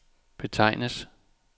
betegnes